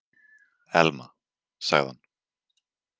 Elma- sagði hann.